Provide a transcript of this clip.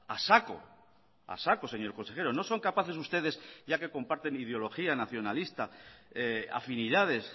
a saco a saco señor consejero no son capaces ustedes ya que comparten ideología nacionalista afinidades